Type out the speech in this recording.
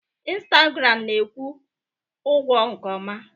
Instagram na-akwụ ụgwọ nke ọma.